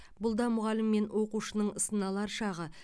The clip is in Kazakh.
бұл да мұғалім мен оқушының сыналар шағы